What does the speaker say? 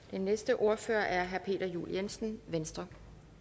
den næste ordfører er herre peter juel jensen venstre